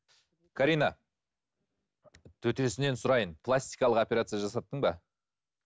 карина төтесінен сұрайын пластикалық операция жасаттың ба